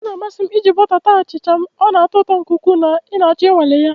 Ọ na-amasị m iji bọta ata achịcha m, ọ na-atọ ụtọ nke ukwuu na ị ga achọ ịnwale ya